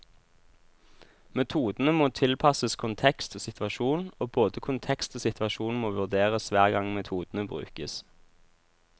Metodene må tilpasses kontekst og situasjon, og både kontekst og situasjon må vurderes hver gang metodene brukes.